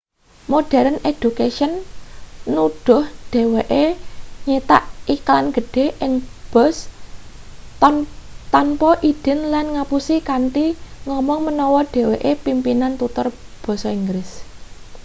modern education nuduh dheweke nyitak iklan gedhe ing bus tanpa idin lan ngapusi kanthi ngomong menawa dheweke pimpinan tutor basa inggris